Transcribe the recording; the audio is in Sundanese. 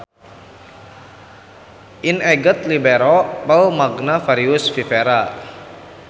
In eget libero vel magna varius viverra.